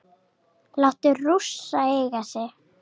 Láta Rússa eiga sig?